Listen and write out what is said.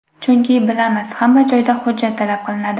Chunki, bilamiz, hamma joyda hujjat talab qilinadi.